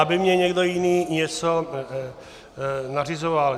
- aby mi někdo jiný něco nařizoval.